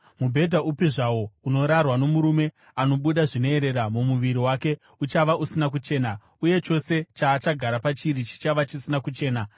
“ ‘Mubhedha upi zvawo unorarwa nomurume anobuda zvinoerera mumuviri wake uchava usina kuchena, uye chose chaachagara pachiri chichava chisina kuchena.